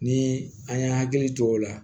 Ni an ye hakili to o la